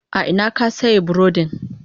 A ina ka sayi burodin?